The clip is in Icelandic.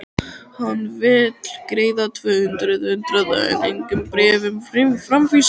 Hann vill greiða tvö hundruð hundraða en engum bréfum framvísa!